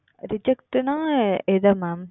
Reject என்றால் எது Mam